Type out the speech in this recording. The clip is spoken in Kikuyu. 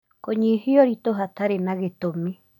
Kũnyihia ũritũ hatarĩ na gĩtũmi